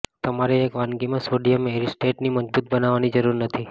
તમારે એક વાનગીમાં સોડિયમ એસિટેટને મજબૂત બનાવવાની જરૂર નથી